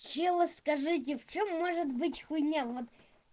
люди скажите в чём может быть хуйня вот